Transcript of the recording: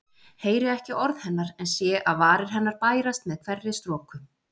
Heyri ekki orð hennar en sé að varir hennar bærast með hverri stroku.